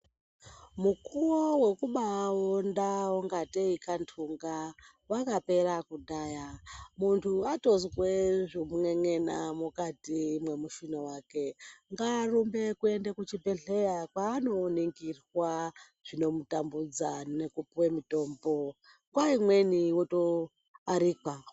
Mukuwo wekubaaonda kungatei kantunga wakapera kudhaya. Muntu atozwe zvekun'en'ena mukati mwemushuna wake ngaarumbe kuende kuchibhedhlera kwaano ningirwa zvinomutambudza nekupuwe mitombo, nguwa imweni woto arekwa.